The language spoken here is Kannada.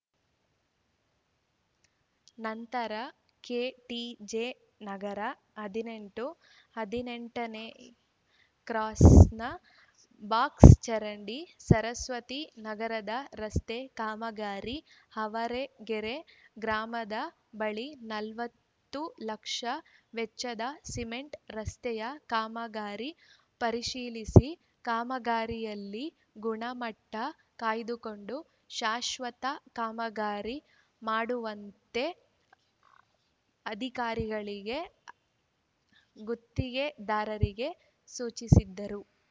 ನಂತರ ಕೆಟಿಜೆ ನಗರ ಹದಿನೆಂಟು ಹದಿನೆಂಟ ನೇ ಕ್ರಾಸ್‌ನ ಬಾಕ್ಸ್‌ಚರಂಡಿ ಸರಸ್ವತಿ ನಗರದ ರಸ್ತೆ ಕಾಮಗಾರಿ ಆವರಗೆರೆ ಗ್ರಾಮದ ಬಳಿ ನಲವತ್ತು ಲಕ್ಷ ವೆಚ್ಚದ ಸಿಮೆಂಟ್‌ ರಸ್ತೆಯ ಕಾಮಗಾರಿ ಪರಿಶೀಲಿಸಿ ಕಾಮಗಾರಿಯಲ್ಲಿ ಗುಣಮಟ್ಟಕಾಯ್ದುಕೊಂಡು ಶಾಶ್ವತ ಕಾಮಗಾರಿ ಮಾಡುವಂತೆ ಅಧಿಕಾರಿಗಳಿಗೆ ಗುತ್ತಿಗೆದಾರರಿಗೆ ಸೂಚಿಸಿದರು